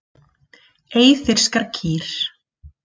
Eyfirskar kýr.